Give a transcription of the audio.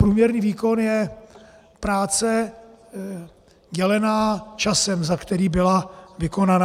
Průměrný výkon je práce dělená časem, za který byla vykonaná.